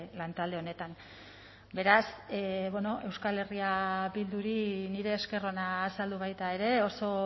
lantalde honetan beraz bueno euskal herria bilduri nire esker ona azaldu baita ere oso